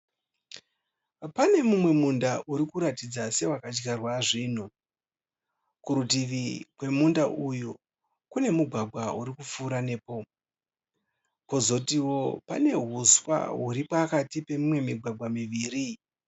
Pane mumwe munda uri kuratidza sewaka dyarwa zvinhu kurutivi kwemunda uyu kune mugwagwa uri kupfuura nepo kozotiwo pane huswa huri pakati pemimwe migwagwa miviri.